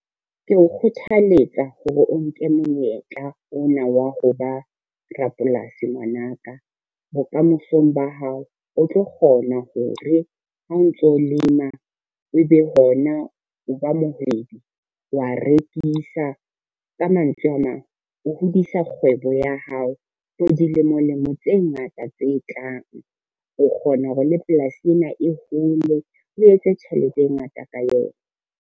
Ke o kgothaletsa hore o nke monyetla ona wa ho ba rapolasi ngwana ka, bokamosong ba hao o tlo kgona ho re ha o ntso lema e be hona o ba moedi wa rekisa. Ka mantswe a mang, o hodisa kgwebo ya hao for dilemo lemo tse ngata tse tlang. O kgona hore le polasi ena e hole, o etse tjhelete e ngata ka yona.